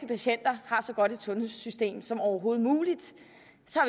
patienter har så godt et sundhedssystem som overhovedet muligt